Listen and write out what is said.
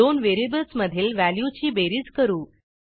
दोन व्हेरिएबल्स मधील व्हॅल्यूची बेरीज करू